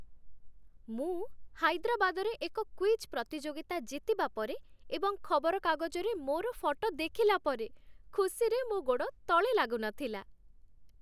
ମୁଁ ହାଇଦ୍ରାବାଦରେ ଏକ କୁଇଜ୍ ପ୍ରତିଯୋଗିତା ଜିତିବା ପରେ ଏବଂ ଖବରକାଗଜରେ ମୋର ଫଟୋ ଦେଖିଲା ପରେ ଖୁସିରେ ମୋ ଗୋଡ଼ ତଳେ ଲାଗୁନଥିଲା।